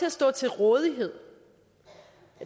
at stå til rådighed